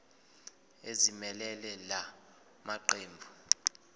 ezimelele la maqembu